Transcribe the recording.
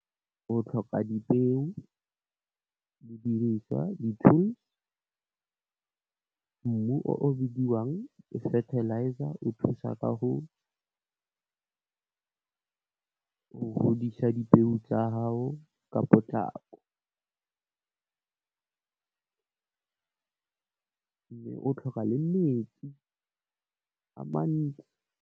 O tlhoka dipeo, didiriswa, di tools, mmu o o bidiwang fertilizer, o thusa ka go godisa dipeo tsa hao ka potlako, o tlhoka le metsi a mantsi.